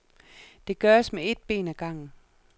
Det gøres med et ben ad gangen.